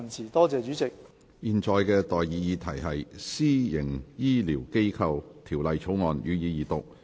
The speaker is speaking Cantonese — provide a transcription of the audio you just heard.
我現在向各位提出的待議議題是：《私營醫療機構條例草案》，予以二讀。